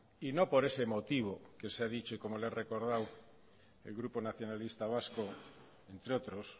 y no por ese motivo que se ha dicho y como le he recordado el grupo nacionalista vasco entre otros